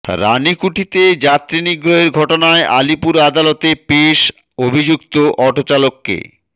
রানিকুঠিতে যাত্রী নিগ্রহের ঘটনায় আলিপুর আদালতে পেশ আভিযুক্ত অটোচালককে